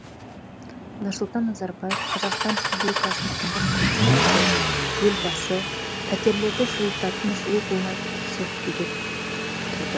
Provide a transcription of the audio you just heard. нұрсұлтан назарбаев қазақстан республикасының тұңғыш президенті елбасы пәтерлерді жылытатын жылу болмай суық күйде тұрды